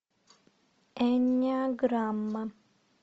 эннеаграмма